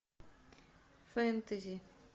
фэнтези